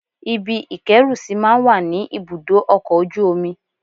Ibi ìkẹ́rùsí máa ń wà ní ibùdó ọkọ̀ ojú omi